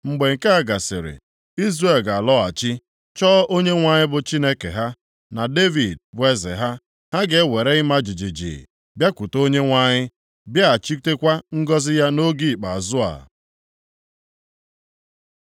Mgbe nke a gasịrị, Izrel ga-alọghachi, chọọ Onyenwe anyị bụ Chineke ha, na Devid bụ eze ha. Ha ga-ewere ịma jijiji bịakwute Onyenwe anyị, bịaghachitekwa ngọzị ya nʼoge ikpeazụ a.